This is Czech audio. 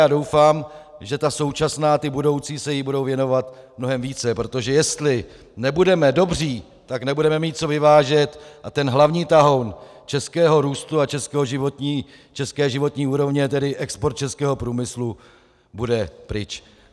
Já doufám, že ta současná i budoucí se jí budou věnovat mnohem více, protože jestli nebudeme dobří, tak nebudeme mít co vyvážet a ten hlavní tahoun českého růstu a české životní úrovně, tedy export českého průmyslu, bude pryč.